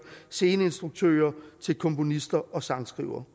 sceneinstruktører til komponister og sangskrivere